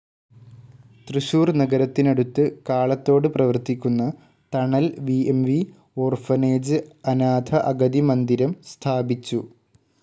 തൃശൂർ നഗരത്തിനടുത്ത് കാളത്തോട് പ്രവർത്തിക്കുന്ന Thanal V M V orphanage അനാഥ അഗതി മന്ദിരം സ്ഥാപിച്ചു.